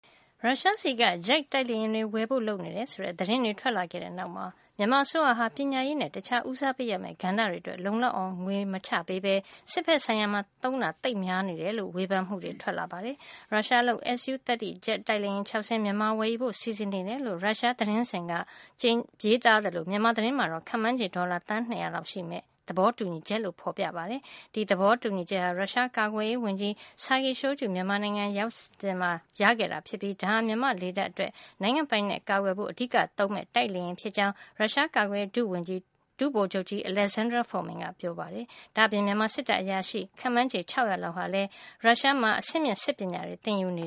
ရုရှားဆီက ဂျက်တိုက်လေယာဉ်တွေ ဝယ်ဖို့လုပ်နေတယ် ဆိုတဲ့ သတင်းတွေ ထွက်လာခဲ့တဲ့နောက်မှာ မြန်မာအစိုးရဟာ ပညာရေးနဲ့ တခြားဦးစားပေးရမယ့် ကဏ္ဍတွေအတွက် လုံလောက်အောင် ငွေမချပေးပဲ စစ်ဘက်ဆိုင်ရာမှာ သုံးတာသိပ်များနေတယ်လို့ ဝေဖန်မှုတွေ ထွက်လာပါတယ်။ ရုရှားလုပ် Su-30 ဂျက်တိုက်လေယာဉ် ၆ စင်း မြန်မာက ဝယ်ယူဖို့စီစဉ်နေတယ်လို့ ရုရှား TASS သတင်းစဉ်က ဇန်နဝါရီလ ၂၂ ရက်နေ့က ရေးသားသလို မြန်မာသတင်းမှာတော့ ခန့်မှန်းခြေ ဒေါ်လာ သန်း ၂၀၀ လောက်ရှိမယ့် သဘောတူညီချက်လို့ဖေါ်ပြထားတာပါ။ ဒီသဘောတူညီချက်ဟာ ရုရှားကာကွယ်ရေးဝန်ကြီး Sergey Shoigu မြန်မာနိုင်ငံကို သွားရောက်စဉ်မှာ ရခဲ့တာဖြစ်ပြီး ဒါဟာ မြန်မာလေတပ်အတွက် နိုင်ငံ့ပိုင်နက်ကို ကာကွယ်ဖို့ အဓိကသုံးမယ့် တိုက်လေယာဉ်ဖြစ်ကြောင်း ရုရှားကာကွယ်ရေး ဒုဝန်ကြီး ဒုဗိုလ်ချုပ်ကြီး Alexander Fomin ကပြောခဲ့ပါတယ်။ ဒါ့အပြင် မြန်မာစစ်တပ်အရာရှိ ခန့်မှန်းခြေ ၆၀၀ လောက်ဟာလည်း ရုရှားမှာ အဆင့်မြင့်စစ်ပညာတွေ သင်ယူနေ